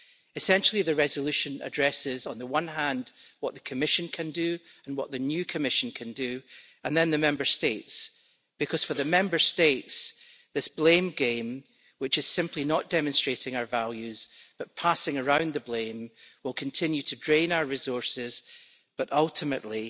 Essentially, the Resolution addresses, on the one hand, what the Commission can do and what the new Commission can do, and then the Member States, because for the Member States, this blame game, which is simply not demonstrating our values but passing around the blame, will continue to drain our resources, but ultimately